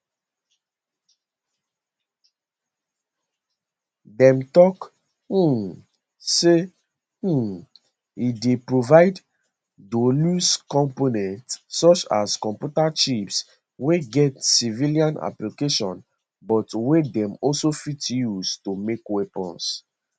dem tok um say um e dey provide dualuse components such as computer chips wey get civilian applications but wey dem also fit use to make weapons